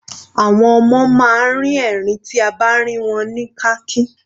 Àwọn ọmọ máa ń rin ẹ̀rín tí a bá rìn wọ́n ní kàkín.